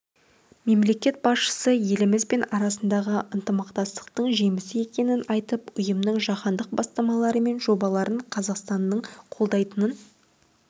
мемлекет басшысы еліміз бен арасындағы ынтымақтастықтың жемісті екенін айтып ұйымның жаһандық бастамалары мен жобаларын қазақстанның қолдайтынын